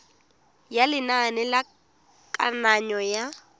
ya lenane la kananyo ya